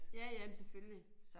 Ja ja men selvfølgelig